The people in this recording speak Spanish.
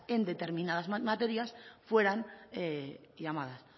en determinadas materias fueran llamadas